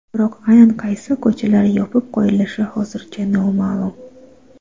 Biroq aynan qaysi ko‘chalar yopib qo‘yilishi hozircha noma’lum.